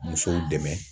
Musow dɛmɛ